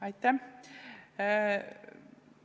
Aitäh!